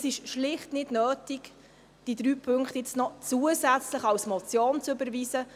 Es ist schlicht nicht notwendig, diese drei Punkte nun zusätzlich als Motion zu überweisen.